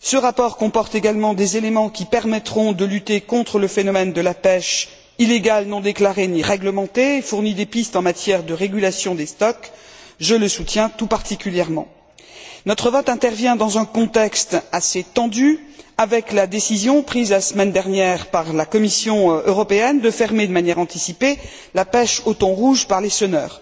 Ce rapport comporte également des éléments qui permettront de lutter contre le phénomène de la pêche illégale non déclarée et non réglementée, fournit des pistes en matière de régulation des stocks. Je le soutiens tout particulièrement. Notre vote intervient dans un contexte assez tendu, avec la décision, prise la semaine dernière par la Commission européenne, de fermer de manière anticipée la pêche au thon rouge par les senneurs.